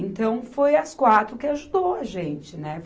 Então, foi as quatro que ajudou a gente, né?